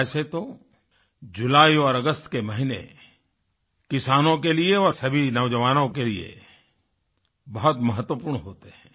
वैसे तो जुलाई और अगस्त के महीने किसानों के लिए और सभी नौजवानों के लिए बहुत महत्वपूर्ण होते हैं